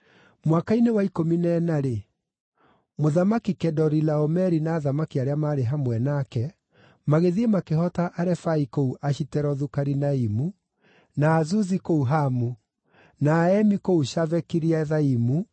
Mwaka-inĩ wa ikũmi na ĩna-rĩ, Mũthamaki Kedorilaomeri na athamaki arĩa maarĩ hamwe nake magĩthiĩ makĩhoota Arefai kũu Ashiterothu-Karinaimu, na Azuzi kũu Hamu, na Aemi kũu Shave-Kiriathaimu,